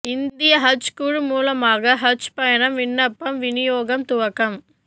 இந்திய ஹஜ் குழு மூலமான ஹஜ் பயணம் விண்ணப்பம் விநியோகம் துவக்கம்